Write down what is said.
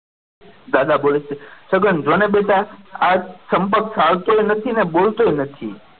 દાદા બોલે છે જગન જાને બેટા આ ચંપક ચાલતો એ નથી ને બોલતો એ નથી.